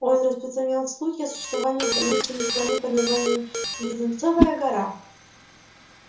он распространял слухи о существовании таинственной страны под названием леденцовая гора